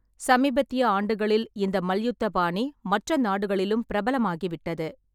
சமீபத்திய ஆண்டுகளில் இந்த மல்யுத்த பாணி மற்ற நாடுகளிலும் பிரபலமாகிவிட்டது.